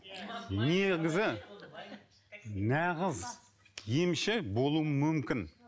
негізі нағыз емші болуы мүмкін